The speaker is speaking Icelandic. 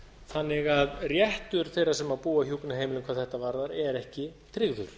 þannig að réttur þeirra sem búa á hjúkrunarheimilum hvað þetta varðar er ekki tryggður